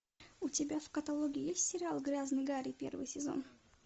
у тебя в каталоге есть сериал грязный гарри первый сезон